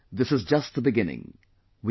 And this is just the beginning